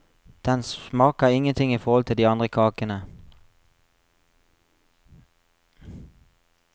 Den smaker ingenting i forhold til de andre kakene.